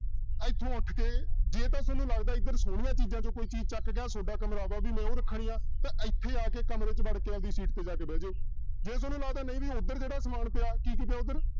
ਇੱਥੋਂ ਉੱਠ ਕੇ ਜੇ ਤਾਂ ਤੁਹਾਨੂੰ ਲੱਗਦਾ ਇੱਧਰ ਸੋਹਣੀਆਂ ਚੀਜ਼ਾਂ ਚੋਂ ਕੋਈ ਚੀਜ਼ ਚੁੱਕ ਕੇ ਆਹ ਤੁਹਾਡਾ ਕਮਰਾ ਵਾ ਵੀ ਮੈਂ ਉਹ ਰੱਖਣੀਆਂ ਤਾਂ ਇੱਥੇ ਆ ਕੇ ਕਮਰੇ 'ਚ ਵੜ ਕੇ ਆਪਦੀ ਸੀਟ ਤੇ ਜਾ ਕੇ ਬਹਿ ਜਾਓ, ਜੇ ਤੁਹਾਨੂੰ ਲੱਗਦਾ ਨਹੀਂ ਵੀ ਉੱਧਰ ਜਿਹੜਾ ਸਮਾਨ ਪਿਆ ਕੀ ਉੱਧਰ